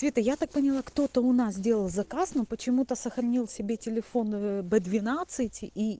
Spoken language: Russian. это я так поняла кто-то у нас делал заказ но почему-то сохранил себе телефон б двенадцать и